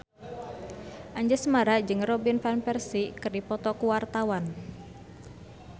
Anjasmara jeung Robin Van Persie keur dipoto ku wartawan